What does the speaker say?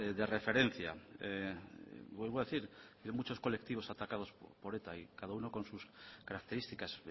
de referencia vuelvo a decir hay muchos colectivos atacados por eta y cada uno con sus características